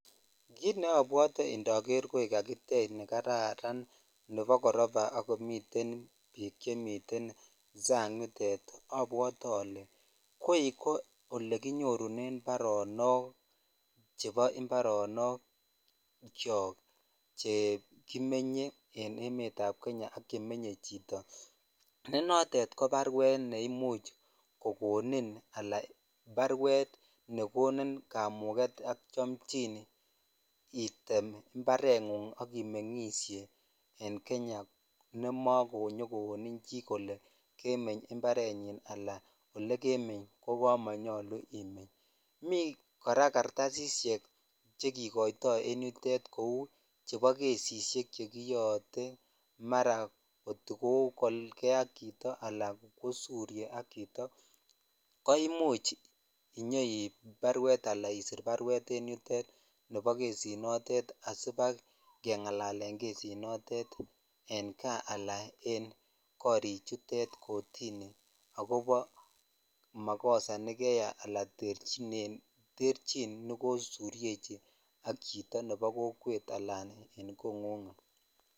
Kiit neobwote indoker koi kakitech nekararan nebo koroba ak komiten biik chemiten sang yutet abwote olee koii ko elekinyorunen baronok chebo imbaronokyok chekimenye en emetab Kenya ak chemenye chito, nee notet ko barwet neimuch kokonin anan barwet neimuch kokonin kamuket ak chomchin item imbareng'ung ak imeng'ishe en Kenya nemokonyo kowonin chii kolee kemeny imbarenyin anan elekemeny ko kamonyolu imeny, mii kora kartasisyek chekikoito en yutet cheuu chebo kesisyek chekiyoote marakot ko kokalke ak chito alan kosurye ak chito koimuch inyoib barwet alaa isir barwet en yutet nebo kesinotet asibakeng'alalen kesinotet en kaa alanen korichutet kotini akobo makosa nekeyai alaa terchin nekosuryechi ak chito nebo kokwet alan kong'ung.